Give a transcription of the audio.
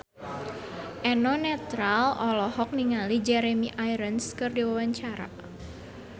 Eno Netral olohok ningali Jeremy Irons keur diwawancara